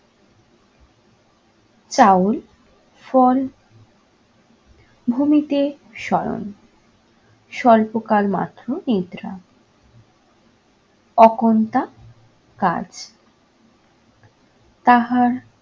চাউল, ফল, ভূমিতে শয়ন, স্বল্পকাল মাত্র নিদ্রা। ওকন্ঠা কাজ তাহার